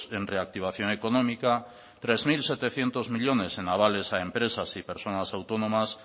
en reactivación económica tres mil setecientos millónes en avales a empresas y personas autónomas